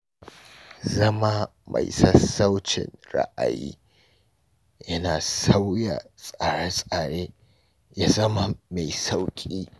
Zama mai sassaucin ra’ayi yana sa sauya tsare-tsare ya zama mai sauƙi.